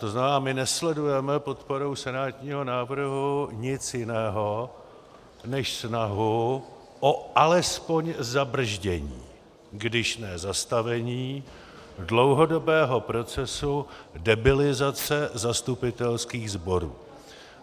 To znamená, my nesledujeme podporou senátního návrhu nic jiného než snahu o alespoň zabrzdění, když ne zastavení, dlouhodobého procesu debilizace zastupitelských sborů